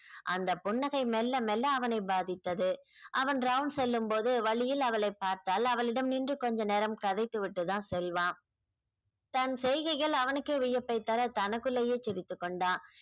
அந்த புன்னகை மெல்ல மெல்ல அவனை பாதித்தது அவன் round செல்லும்போது வழியில் அவளைப் பார்த்தால் அவளிடம் நின்று கொஞ்ச நேரம் கதைத்து விட்டு தான் செல்வான் தன் செய்கைகள் அவனுக்கே வியப்வை தர தனக்குள்ளயே சிரித்துக் கொண்டான்